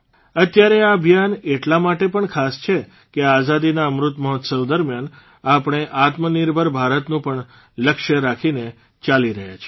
અત્યારે આ અભિયાન એટલા માટે પણ ખાસ છે કે આઝાદીના અમૃતમહોત્સવ દરમિયાન આપણે આત્મનિર્ભર ભારતનું પણ લક્ષ્ય રાખીને ચાલી રહ્યા છીએ